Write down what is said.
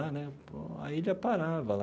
Lá né aí já parava lá.